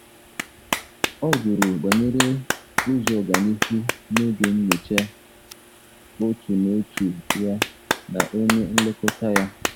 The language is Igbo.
Ọ jụrụ banyere ụzọ ọganihu n’oge nyocha otu na otu ya na onye nlekọta ya.